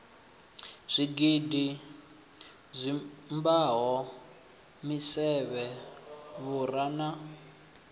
zwigidi dzimbado misevhe vhura na